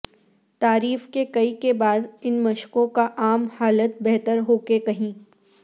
تعریف کے کئی کے بعد ان مشقوں کا عام حالت بہتر ہو کہ کہیں